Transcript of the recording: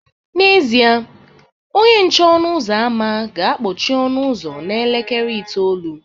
N'ezie, onye nche ọnụ ụzọ ámá ga-akpọchi ọnụ ụzọ n'elekere itoolu